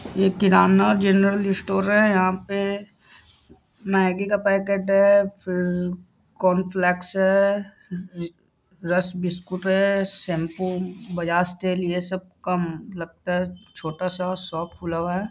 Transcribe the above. ये kirana general store है। यहाँ पे मैग्गी का पैकेट है फिर कॉर्नफ्लैक्स है री रस्क बिस्कुट है शैम्पू बजाज तेल ये सब का लगता है छोटा सा शॉप खुला हुआ है।